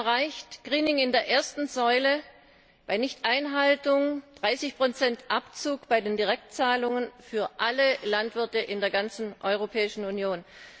Wir haben erreicht Greening in der ersten Säule, bei Nichteinhaltung 30 Abzug bei den Direktzahlungen für alle Landwirte in der ganzen Europäischen Union.